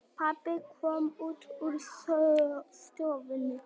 Pabbi kom út úr stofunni.